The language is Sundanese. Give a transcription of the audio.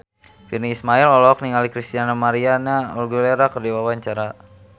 Virnie Ismail olohok ningali Christina María Aguilera keur diwawancara